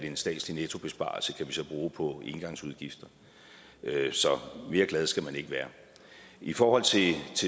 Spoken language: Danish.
en statslig nettobesparelse på engangsudgifter så mere glad skal man ikke være i forhold til